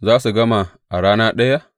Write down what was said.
Za su gama a rana ɗaya?